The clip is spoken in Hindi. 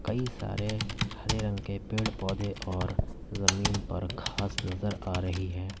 कई सारे हरे रंग के पेड़ पौधे और जमीन पर घास नजर आ रही है।